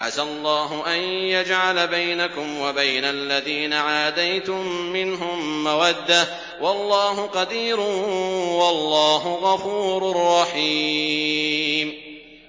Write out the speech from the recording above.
۞ عَسَى اللَّهُ أَن يَجْعَلَ بَيْنَكُمْ وَبَيْنَ الَّذِينَ عَادَيْتُم مِّنْهُم مَّوَدَّةً ۚ وَاللَّهُ قَدِيرٌ ۚ وَاللَّهُ غَفُورٌ رَّحِيمٌ